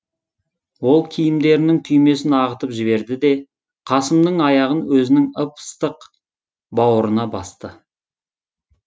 ол киімдерінің түймесін ағытып жіберді де қасымның аяғын өзінің ып ыстық бауырына басты